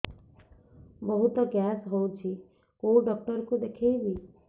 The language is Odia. ବହୁତ ଗ୍ୟାସ ହଉଛି କୋଉ ଡକ୍ଟର କୁ ଦେଖେଇବି